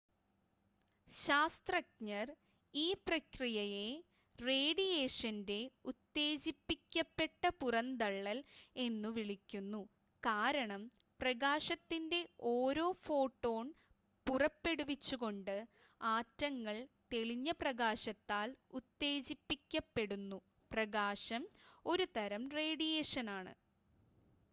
"ശാസ്ത്രജ്ഞർ ഈ പ്രക്രിയയെ "റേഡിയേഷന്റെ ഉത്തേജിപ്പിക്കപ്പെട്ട പുറന്തള്ളൽ" എന്നുവിളിക്കുന്നു കാരണം പ്രകാശത്തിന്റെ ഒരു ഫോട്ടോൺ പുറപ്പെടുവിച്ചുകൊണ്ട് ആറ്റങ്ങൾ തെളിഞ്ഞ പ്രകാശത്താൽ ഉത്തേജിപ്പിക്കപ്പെടുന്നു പ്രകാശം ഒരു തരം റേഡിയേഷനാണ്.